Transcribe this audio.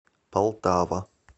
полтава